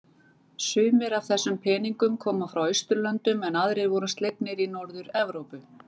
Sumir af þessum peningnum koma frá Austurlöndum en aðrir voru slegnir í Norður-Evrópu.